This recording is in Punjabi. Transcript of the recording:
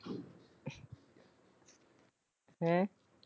ਹੈਂ?